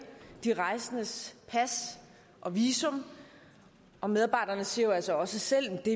de rejsendes pas og visum og medarbejderne siger jo altså også selv at de